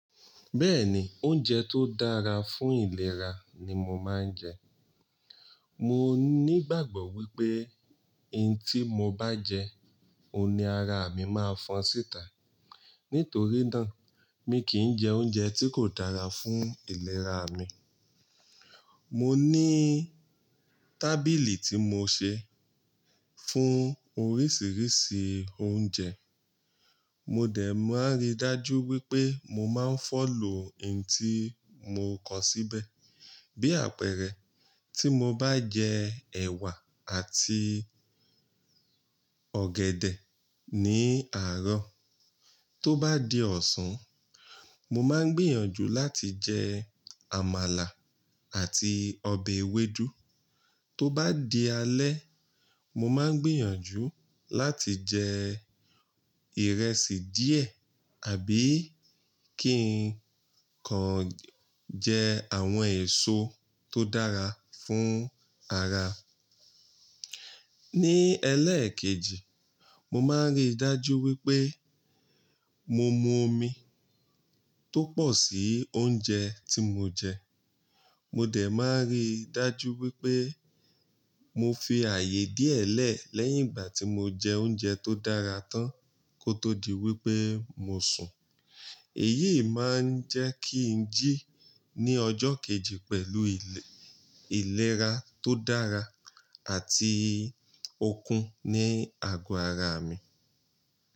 Bẹ́ẹ̀ni, oúnjẹ tó dára fún ìlera ni mo máa ń jẹ. Mo ní ìgbàgbọ́ wípé ohun tí mo bá jẹ, òun ni ara mi máa fọn síta. Nítorí náà, mi kì í jẹ oúnjẹ tí kò dára fún ìlera mi. Mo ní tábìlì tí mo ṣẹ fún oríṣiríṣi oúnjẹ. Mo dẹ̀ máa ń rí dájú wípé mo máa ń fọ̀lọ̀ ohun tí mo kọ síbẹ̀. Bí àpẹẹrẹ, tí mo bá jẹ ẹ̀wà àti ọ̀gẹ̀dẹ̀ ní àárọ̀, tó bá di ọ̀sán, mo máa ń gbìyànjú láti jẹ àmàlà àti ọbẹ̀ ewédú. Tó bá di alẹ́, mo máa ń gbìyànjú láti jẹ ìrẹsì díẹ̀ àbí kí n kan jẹ àwọn èso tó dára fún ara. Ní ẹlẹ́ẹ̀kejì, mo máa ń rí dájú wípé mo mu omi tó pọ̀ sí oúnjẹ tí mo jẹ. Mo dẹ̀ máa ń rí dájú wípé mo fi ààyè díẹ̀ lẹ̀ lẹ́yìn ìgbà tí mo jẹ oúnjẹ tó dára tán kó tó di wípé mo sùn. Èyí máa ń jẹ́ kí ń jí ní ọjọ́ kejì pẹ̀lú ìléra tó dára àti okun ní àgọ́ ara mi.